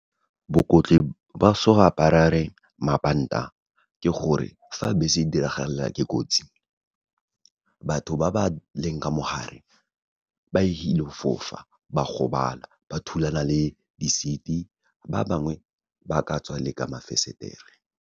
Ba so go mabanta ke gore, fa bese e diragalelwa ke kotsi, batho ba ba leng ka mo gare, ba ilo fofa, ba gobala, ba thulana le di-seat-e, ba bangwe ba ka tswa le ka mafensetere.